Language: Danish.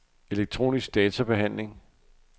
elektronisk databehandling